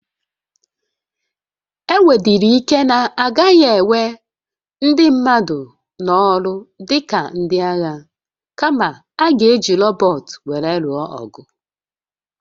O nwedịrị ike na a gaghị ewe ndị mmadụ n'ọrụ dị ka ndị agha, kama, a ga-eji rọbọt were lụọ agha.